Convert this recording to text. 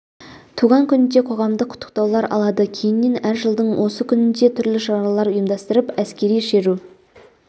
туған күнінде қоғамдық құттықтаулар алады кейіннен әр жылдың осы күнінде түрлі шаралар ұйымдастырып әскери шеру